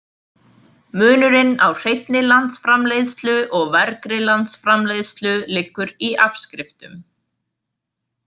Munurinn á hreinni landsframleiðslu og vergri landsframleiðslu liggur í afskriftum.